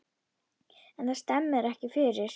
En það skemmir ekki fyrir.